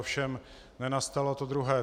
Ovšem nenastalo to druhé.